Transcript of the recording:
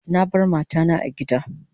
Na bar mata na a gida